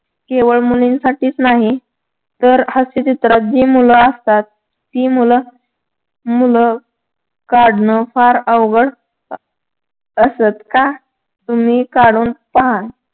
केवळ मुलींसाठीच नाही. तर हास्यचित्रांत जी मुलं असतात ती मुलं मुलं काढणं फार अवघड अह असतं. का? तुम्ही काढून पहा.